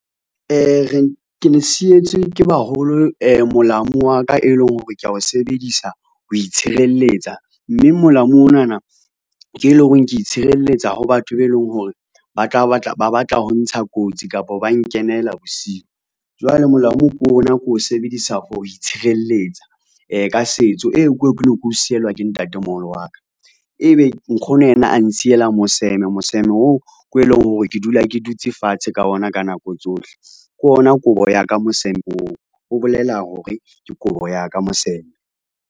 Re ke le sietswe ke baholo molamu wa ka e leng hore, ke a o sebedisa ho itshireletsa mme molao onana ke eleng horeng ke itshireletsa ho batho be leng hore ba tla batla ba batla ho ntsha kotsi kapo ba nkenela bosiu. Jwale molamu ke ona ke o sebedisa for ho itshireletsa ka setso eo ke keo ne ke o sielwa ke ntatemoholo wa ka. Ebe nkgono yena a nsiyela moseme. Moseme oo ko eleng hore ke dula ke dutse fatshe ka ona ka nako tsohle. Ke ona kobo ya ka moseme oo ho bolela hore ke kobo ya ka moseme.